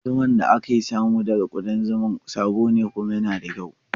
Zuman da aka samo daga waɗannan ƙudan zuma sabo ne kuma yana da kyau.